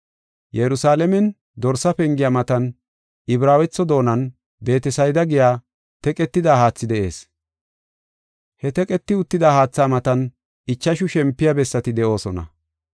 Yerusalaamen Dorsa Pengiya matan Ibraawetho doonan Beetesayda giya teqetida haathi de7ees. He teqeti uttida haatha matan ichashu shempiya bessati de7oosona.